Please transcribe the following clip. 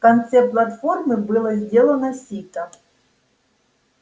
в конце платформы было сделано сито